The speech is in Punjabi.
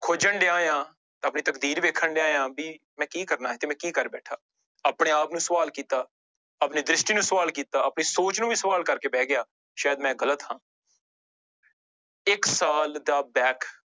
ਖੋਜਣ ਡਿਆਂ ਹਾਂ ਆਪਣੀ ਤਕਦੀਰ ਵੇਖਣ ਡਿਆਂ ਹਾਂ ਵੀ ਮੈਂ ਕੀ ਕਰਨਾ ਤੇ ਮੈਂ ਕੀ ਕਰ ਬੈਠਾ, ਆਪਣੇ ਆਪ ਨੂੰ ਸਵਾਲ ਕੀਤਾ ਆਪਣੀ ਦ੍ਰਿਸ਼ਟੀ ਨੂੰ ਸਵਾਲ ਕੀਤਾ ਆਪਣੀ ਸੋਚ ਨੂੰ ਵੀ ਸਵਾਲ ਕਰਕੇ ਬਹਿ ਗਿਆ ਸ਼ਾਇਦ ਮੈਂ ਗ਼ਲਤ ਹਾਂ ਇੱਕ ਸਾਲ ਦਾ back